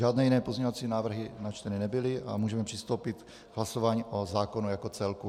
Žádné jiné pozměňovací návrhy načteny nebyly a můžeme přistoupit k hlasování o zákonu jako celku.